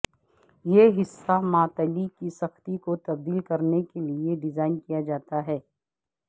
یہ حصہ معطلی کی سختی کو تبدیل کرنے کے لئے ڈیزائن کیا جاتا ہے